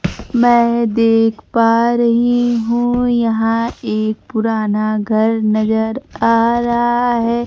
मैं देख पा रही हूं यहां एक पुराना घर नजर आ रहा है।